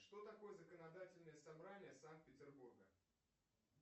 что такое законодательное собрание санкт петербурга